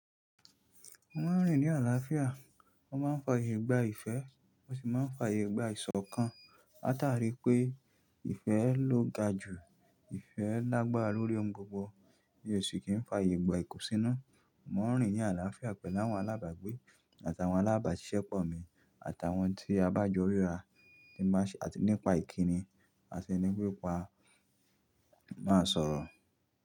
Mo n rìn ní àlàáfíà, mo máa n faàyè gba ìfẹ́, mo sì máa ń faàyè gba ìṣọ̀kan. Látarí i pé ìfẹ́ ló ga jù, ìfẹ́ lágbára lórí ohun gbogbo, mi o sì kì n faàyè gba ìkùnsínú. Mo n rìn ni àlàáfíà pẹ̀lú àwọn alábàgbé àtàwọn alábàáṣiṣẹ́pọ̀ mi àtàwọn tí a bá jọ ríra nípa ìkíni àti nípa máa sọ̀rọ̀